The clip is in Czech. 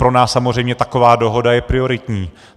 Pro nás samozřejmě taková dohoda je prioritní.